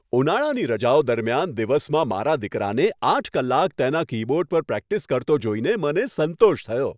ઉનાળાની રજાઓ દરમિયાન દિવસમાં મારા દીકરાને આઠ કલાક તેના કીબોર્ડ પર પ્રેક્ટિસ કરતો જોઈને મને સંતોષ થયો.